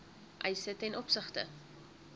eise ten opsigte